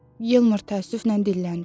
Yalmar təəssüflə dilləndi.